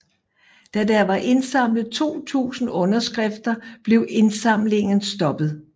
Da der var indsamlet 2000 underskrifter blev indsamlingen stoppet